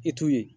I t'u ye